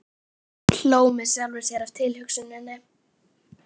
Hló með sjálfri mér að tilhugsuninni.